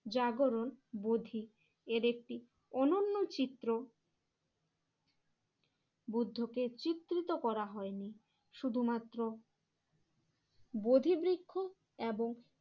জাগরণ বোধি এর একটি অনন্য চিত্র বুদ্ধকে চিত্রিত করা হয়নি। শুধুমাত্র বোধি বৃক্ষ এবং